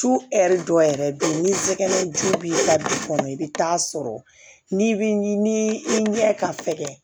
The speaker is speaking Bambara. Su hɛri dɔ yɛrɛ be yen ni sɛgɛnjugu b'i ka du kɔnɔ i bɛ taa sɔrɔ ni i ɲɛ ka fɛkɛ